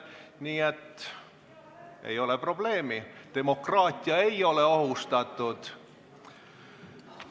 Nii et ei ole probleemi, demokraatia ei ole ohustatud.